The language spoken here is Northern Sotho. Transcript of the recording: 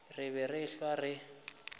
re be re ehlwa re